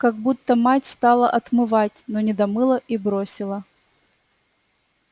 как будто мать стала отмывать но не домыла и бросила